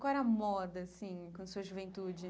Qual era a moda, assim, com a sua juventude?